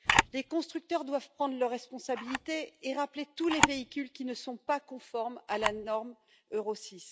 Les constructeurs doivent prendre leurs responsabilités et rappeler tous les véhicules qui ne sont pas conformes à la norme Euro VI.